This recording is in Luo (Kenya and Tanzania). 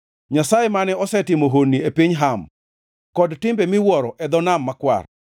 Nyasaye mane osetimo honni e piny Ham kod timbe miwuoro e dho Nam Makwar.